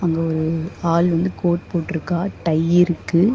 இங்க ஒரு ஆள் வந்து கோட் போற்றுக்கா டை இருக்கு.